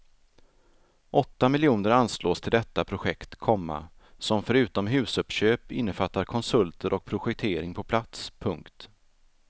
Åtta miljoner anslås till detta projekt, komma som förutom husuppköp innefattar konsulter och projektering på plats. punkt